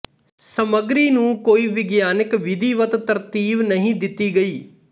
ਸਮੱਗਰੀ ਨੂ ਕੋਈ ਵਿਗਿਆਨਕ ਵਿਧੀਵਤ ਤਰਤੀਬ ਨਹੀਂ ਦਿਤੀ ਗਈ